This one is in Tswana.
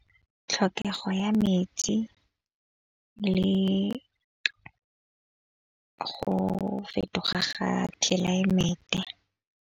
Tlhokego ya metsi le go fetoga ga tlelaemete.